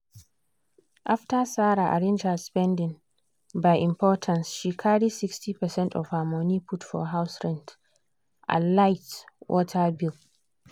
after sarah arrange her spending by importance she carry 60%of her money put for house rent and light/water bill.